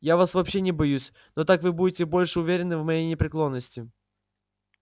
я вас вообще не боюсь но так вы будете больше уверены в моей непреклонности